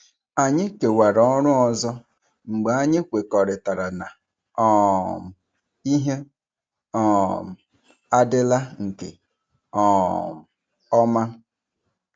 Anyị kewara ọrụ ọzọ mgbe anyị kwekọrịtara na um ihe um adịla nke um ọma.